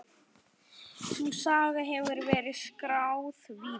Sú saga hefur verið skráð víða.